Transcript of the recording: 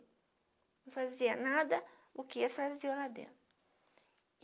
Não fazia nada, o que eles faziam lá dentro.